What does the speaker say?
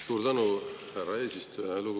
Suur tänu, härra eesistuja!